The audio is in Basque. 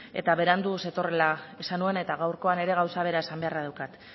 eta berandu zetorrela esan nuen eta gaurkoan ere gauza bera esan beharra daukat